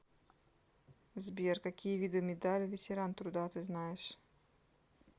сбер какие виды медаль ветеран труда ты знаешь